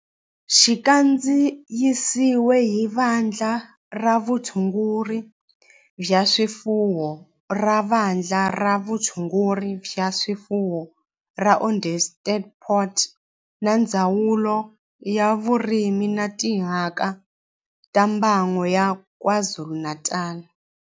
Xi kandziyisiwe hi Vandla ra Vutshunguri bya swifuwo ra Vandla ra Vutshunguri bya swifuwo ra Onderstepoort na Ndzawulo ya Vurimi na Timhaka ta Mbango ya KwaZulu-Natal